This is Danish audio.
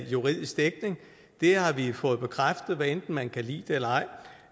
juridisk dækning det har vi fået bekræftet hvad enten man kan lide det eller ej